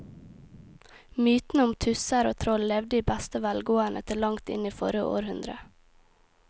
Mytene om tusser og troll levde i beste velgående til langt inn i forrige århundre.